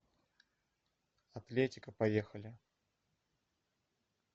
атлетика поехали